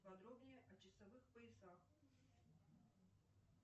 подробнее о часовых поясах